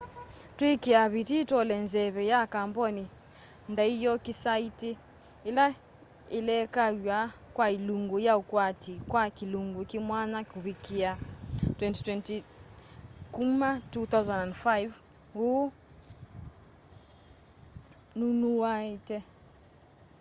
twiikia vitii tuole nzeve ya kamboni ndaiokisaiti ila ilekaw'a kwa ilungu ya ukwati kwa kilungu kimwanya kuvikia 2020 kuma 2005 hu nnunawetie